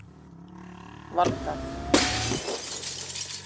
Valgarð